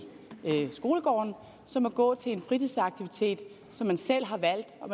skolegården som at gå til en fritidsaktivitet som man selv har valgt og